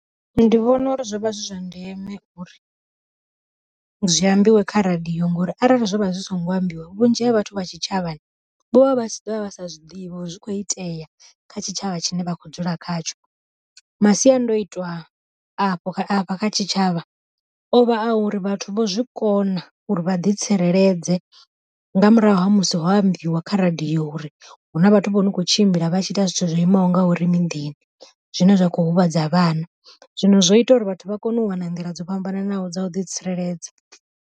Ndi vhona uri zwo vha zwi zwa ndeme uri zwi ambiwe kha radiyo ngori arali zwo vha zwi songo ambiwa, vhunzhi ha vhathu vha tshitshavhani vho vha vha si ḓovha vha sa zwiḓivha uri zwi kho itea kha tshitshavha tshine vha khou dzula khatsho. Masiandoitwa afho afha kha tshitshavha, ovha a uri vhathu vho zwi kona uri vha ḓi tsireledze nga murahu ha musi ho ambiwa kha radiyo uri hu na vhathu vho no kho tshimbila vhatshi ita zwithu zwo imaho ngauri miḓini, zwine zwa kho huvhadza vhana zwino zwo ita uri vhathu vha kone u wana nḓila dzo fhambananaho dza u ḓi tsireledza.